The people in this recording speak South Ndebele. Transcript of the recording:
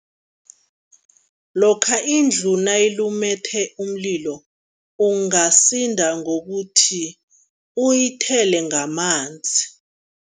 Lokha indlu nayilumethe umlilo, ungasinda ngokuthi uyithele ngamanzi.